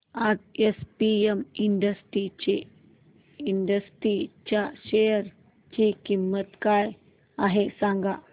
आज APM industries च्या share ची किंमत काय आहे सांगा